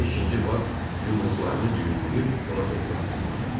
Deyir, ikinci Bat yumruqlarını düyünləyib ona doğru addıladı.